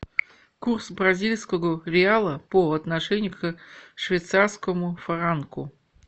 курс бразильского реала по отношению к швейцарскому франку